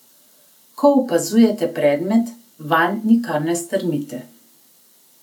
Ko opazujete predmet, vanj nikar ne strmite.